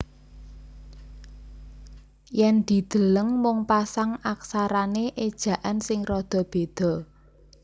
Yen dideleng mung pasang aksarane ejaan sing rada beda